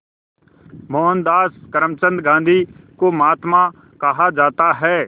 मोहनदास करमचंद गांधी को महात्मा कहा जाता है